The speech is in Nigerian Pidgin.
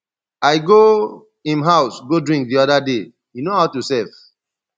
i go im house go drink the other day he know how to serve